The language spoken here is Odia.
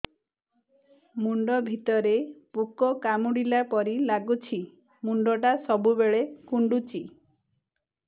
ମୁଣ୍ଡ ଭିତରେ ପୁକ କାମୁଡ଼ିଲା ପରି ଲାଗୁଛି ମୁଣ୍ଡ ଟା ସବୁବେଳେ କୁଣ୍ଡୁଚି